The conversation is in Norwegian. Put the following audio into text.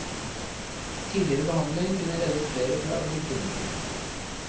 Tidligere behandling kunne reddet flere fra å bli kronikere.